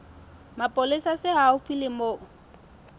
mapolesa se haufi le moo